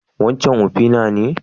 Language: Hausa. Waccan ofina ce?